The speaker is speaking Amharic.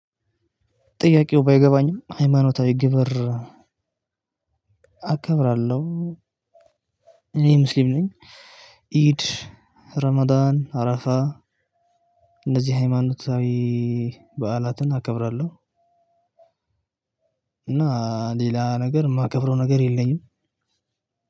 ጥያቄው? ባይገባኝም ሃይማኖታዊ ግብር አከብራለሁ። እኔ ሙስሊም ነኝ። ኢድ ረማዳን አራፋ እንደዚህ ሃይማኖታዊ በዓላትን አከብራለሁ። እና ሌላ ነገር የማከብረው ነገር የለኝም።